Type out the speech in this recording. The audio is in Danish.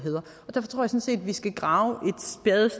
der træffes af set vi skal grave